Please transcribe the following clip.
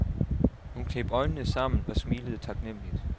Hun kneb øjnene sammen og smilede taknemmeligt.